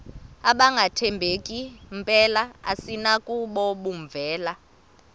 abangathembeki mpela asinakubovumela